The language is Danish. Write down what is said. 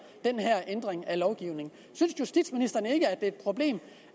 den her ændring af lovgivningen synes justitsministeren ikke at det er et problem